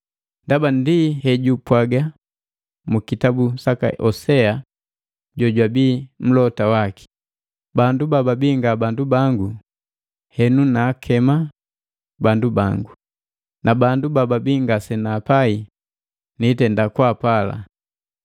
Ndaba ndi hejupwaga mukitabu saka Hosea jojwabi mlota waki, “Bandu bababi, nga bandu bango, henu naakema, ‘Bandu bangu,’ na bandu bababia ngase naapai, ‘Niitenda kwaapala’